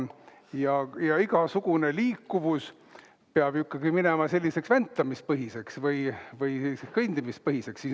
Ja igasugune liikuvus peab minema selliseks väntamisepõhiseks või kõndimisepõhiseks.